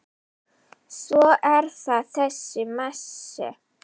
Svo er það þessi Messi.